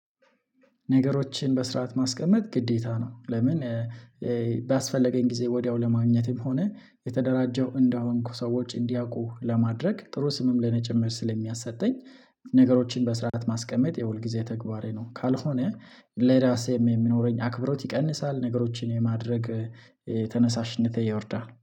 ነገሮችን በስርዓት ማስቀመጥ ግዴታ ነው። ለምን ባስፈለገኝ ጊዜ ወዲያው ለማግኘትም ሆነ የተደራጀሁ እንደሆንሁ ሰዎች እንዲያውቁ ለማድረግ ጥሩ ስምም ለኔ ጭምር ስለሚያሰጠኝ ነገሮችን በስርዓት ማስቀመጥ የውል ጊዜ ተግባሬ ነው ካልሆነ ለራሴም የሚኖረኝ አክብሮት ይቀንሳል፤ ነገሮችን የማድረግ ተነሳሽነት ይወርዳል።